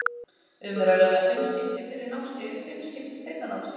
Um er að ræða fimm skipti fyrra námskeiðið og fimm skipti seinna námskeiðið.